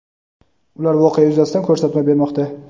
ular voqea yuzasidan ko‘rsatma bermoqda.